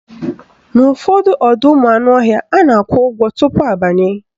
N'ụfọdụ ọdọụmụanụọhịa, a na-akwụ ụgwọ tupu abanye